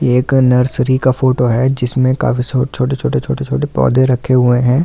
एक नर्सरी का फोटो है जिसमें काफी छोटे-छोटे छोटे-छोटे पौधे रखे हुए हैं।